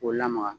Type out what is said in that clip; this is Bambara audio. K'o lamaga